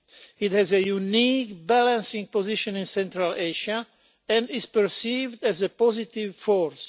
It has a unique balancing position in Central Asia, and is perceived as a positive force.